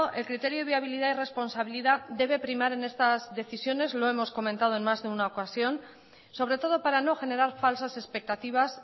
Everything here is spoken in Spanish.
el criterio de viabilidad y responsabilidad debe primar en estas decisiones lo hemos comentado en más de una ocasión sobre todo para no generar falsas expectativas